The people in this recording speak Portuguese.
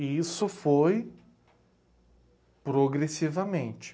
E isso foi progressivamente.